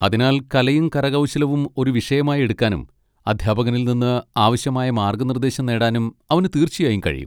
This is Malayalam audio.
അതിനാൽ, കലയും കരകൗശലവും ഒരു വിഷയമായി എടുക്കാനും അധ്യാപകനിൽ നിന്ന് ആവശ്യമായ മാർഗ്ഗനിർദേശം നേടാനും അവന് തീർച്ചയായും കഴിയും.